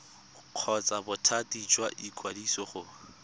kgotsa bothati jwa ikwadiso go